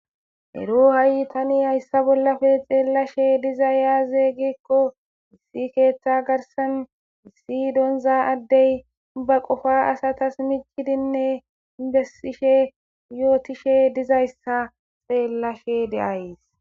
ero ha7i tani hayssa bolla xeellashe diza yaa zeeygekko issikeeththa garsan issi donza addey ba qofa asatas miccidinne bessishe yootishe dizayssa xeellashe de7ays